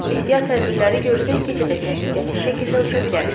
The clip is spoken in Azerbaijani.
Ehtiyat tədbirləri görsək gecədə təhlükəsiz şəkildə uça bilərik.